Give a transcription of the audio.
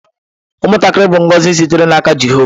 Ụmụntakịrị bụ ngọzi sitere n’aka Jehova.